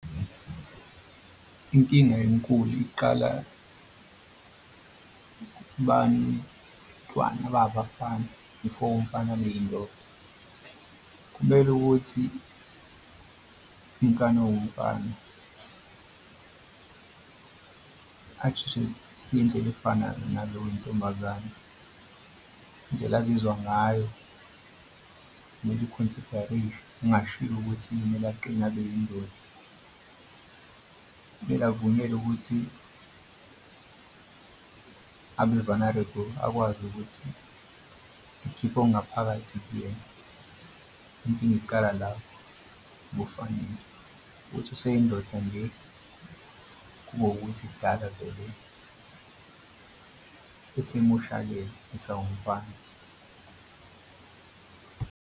Inkinga enkulu iqala kubantwana ababafana before umfana abe indoda kumele ukuthi ingane ewumfana indlela efanayo nalo wentombazane indlela azizwa ngayo kungashiwo ukuthi kumele aqine abeyindoda. Kumele avunyelwe ukuthi abe-vulnerable akwazi ukuthi ngikhiphe okungaphakathi kuyena. Inkinga iqala lapho ebafaneni kuthi useyindoda nje kube ukuthi kudaba vele esemoshakele esawumfana.